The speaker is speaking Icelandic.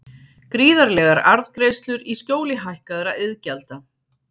Gríðarlegar arðgreiðslur í skjóli hækkaðra iðgjalda